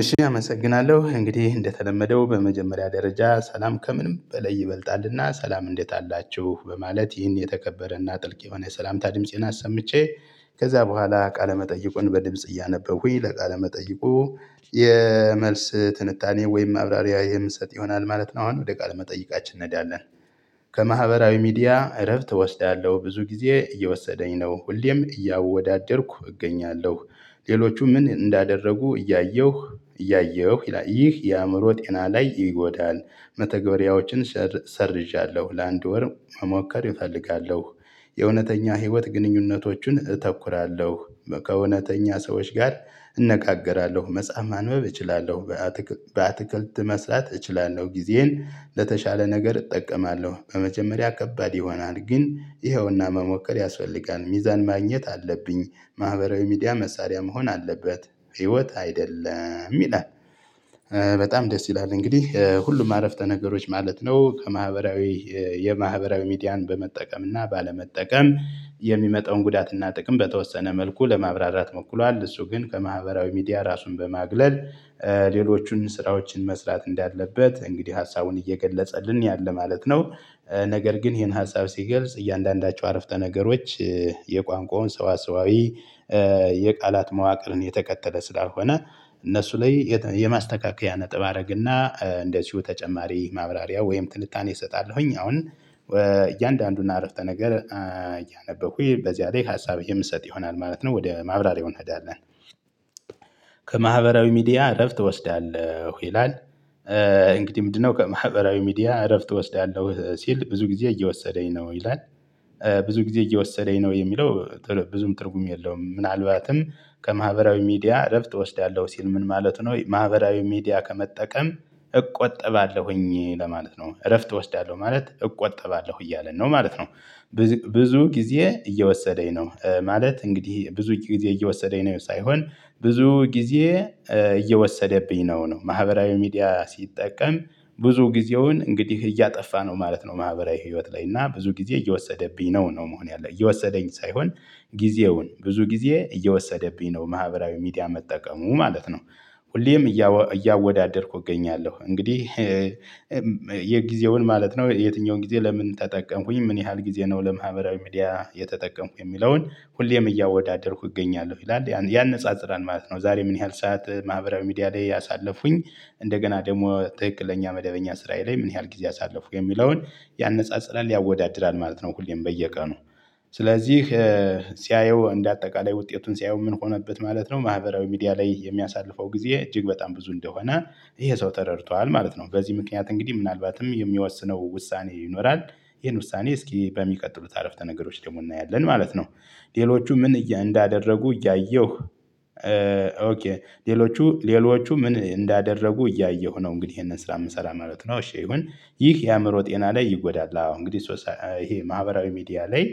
እሺ አመሰግናለሁ እንግዲህ እንደተለመደው በመጀመሪያ ደረጃ ሰላም ከምንም በላይ ይበልጣልና ሰላም እንዴት አላችሁ በማለት ይህን የተከበረና ጥልቅ የሆነ ሰላምታ ድምፄን አሰምቼ ከዚያ በኋላ ቃለ መጠይቁን በድምጽ እያነበብኩኝ ለቃ መጠየቁ የመልስ ትንታኔ ወይም ማብራሪያ የምሰጥ ይሆናል ማለት ነው። አሁን ወደ ቃል መጠይቃችን እንደዳለን ከማህበራዊ ሚዲያ እረፍት እወስዳለሁ ብዙ ጊዜ እየወሰደኝ ነው ሁልግዜም እያወዳደርኩ እገኛለሁ። ሌሎቹ ምን እንዳደረጉ እያየሁ እያየሁ ይላል ይህ የአእምሮ ጤና ላይ ይጎዳል። መተግበሪያዎችን ሰርዣለሁ ለአንድ ወር መሞከር እፈልጋለሁ። የእውነተኛ ህይወት ግንኙነቶችን አተኩራለሁ። ከእውነተኛ ሰዎች ጋር እነጋገራለሁ መጽሐፍ ማንበብ እችላለሁ። በአትክልት መስራት እችላለሁ ጊዜዬ ለተሻለ ነገር እጠቀማለሁ። በመጀመሪያ ከባድ ይሆናል ግን ይኸውና መሞከር ያስፈልጋል ሚዛን ማግኘት አለብኝ። ማህበራዊ ሚዲያ መሳሪያ መሆን አለበት ህይወት አይደለም ይላል። በጣም ደስ ይላል እንግዲህ ሁሉም አረፍተ ነገሮች ማለት ነው ከማህበራዊ የማህበራዊ ሚዲያን በመጠቀም እና ባለመጠቀም የሚመጣውን ጉዳትና ጥቅም በተወሰነ መልኩ ለማብራራት ሞክሯል። እሱ ግን ከማህበራዊ ሚዲያ ራሱን በማግለል ሌሎቹን ስራዎችን መስራት እንዳለበት እንግዲህ ሀሳቡን እየገለጸልን ያለ ማለት ነው። ነገር ግን ይሄን ሀሳብ ሲገልጽ እያንዳንዳቸው አረፍተ ነገሮች የቋንቋውን ሰዋሰዋዊ የቃላት መዋቅርን የተከተለ ስላልሆነ። እነሱ ላይ የማስተካከያ ነጥብ አደርግና እንደዚሁ ተጨማሪ ማብራሪያ ወይም ትንታኔ እሰጣለሁ። አሁን እያንዳንዱን አረፍተ ነገር እያነበብኩ በዚያ ላይ ሀሳብ የምሰጥ ይሆናል ማለት ነው ወደ ማብራሪያው እንሄዳለን። ከማህበራዊ ሚዲያ እረፍት እወስዳለሁ ይላል። እንግዲህ ምንድነው ከማህበራዊ ሚዲያ እረፍት እወስዳለሁ ሲል ብዙ ጊዜ እየወሰደኝ ነው ይላል። ብዙ ጊዜ እየወሰደኝ ነው የሚለው ብዙም ትርጉም የለውም። ምናልባትም ከማህበራዊ ሚዲያ እረፍት እወስዳለሁ ሲል ምን ማለት ነው? ማህበራዊ ሚዲያ ከመጠቀም እቆጠባለሁ ለማለት ነው እረፍት እወስዳለሁ ማለት እቆጠባለሁ እያለ ነው ማለት ነው። ብዙ ጊዜ እየወሰደኝ ነው ማለት እንግዲህ ብዙ ጊዜ እየወሰደኝ ነው ሳይሆን ብዙ ጊዜ እየወሰደብኝ ነው ማህበራዊ ሚዲያ ሲጠቀም ብዙ ጊዜውን እንግዲህ እያጠፋ ነው ማለት ነው። ማህበራዊ ህይወት ላይ እና ብዙ ጊዜ እየወሰደብኝ ነው ነው መሆን ያለብት እየወሰደኝ ሳይሆን ጊዜውን ብዙ ጊዜ እየወሰደብኝ ነው ማህበራዊ ሚዲያ መጠቀሙ ማለት ነው። ሁልጊዜም እያወዳደርኩ እገኛለሁ እንግዲህ። የጊዜውን ማለት ነው የትኛውን ጊዜ ለምን ተጠቀምኩኝ ምን ያህል ጊዜ ነው ለማህበራዊ ሚዲያ የተጠቀምኩ የሚለውን ሁልጊዜም እያወዳደርኩ እገኛለሁ ይላል ያነጻጽራል ማለት ነው። ዛሬ ምን ያህል ሰዓት ማህበራዊ ሚዲያ ላይ ያሳለፉኝ እንደገና ደግሞ ትክክለኛ መደበኛ ስራዬ ላይ ምን ያህል ጊዜ አሳለፉኩ የሚለውን ያነጻጽራል ያወዳድራል ማለት ነው። ሁልጊዜም በየቀኑ ስለዚህ ሲያየው እንደ አጠቃላይ ውጤቱን ሲያየው ምን ሆነበት ማለት ነው። ማህበራዊ ሚዲያ ላይ የሚያሳልፈው ጊዜ እጅግ በጣም ብዙ እንደሆነ ይሄ ሰው ተረድቷል ማለት ነው። በዚህ ምክንያት እንግዲህ ምናልባትም የሚወስነው ውሳኔ ይኖራል። ይሄን ውሳኔ እስኪ በሚቀጥሉት አረፍተ ነገሮች ደግሞ እናያለን ማለት ነው። ሌሎቹ ምን እንዳደረጉ እያየሁ። ሌሎቹ ምን እንዳደረጉ እያየሁ ነው እንግዲህ ይሄንን ስራ የምሰራ ማለት ነው። እሺ ይሁን ይህ የአእምሮ ጤና ላይ ይጎዳል። አዎ እንግዲህ ይህ ማህበራዊ ሚዲያ ላይ